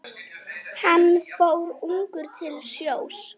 Hann fór ungur til sjós.